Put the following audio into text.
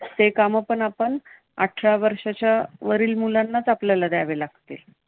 ते काम पण आपण आठरा वर्षाच्यावरील मुलांनाच आपल्याला द्यावे लागतील.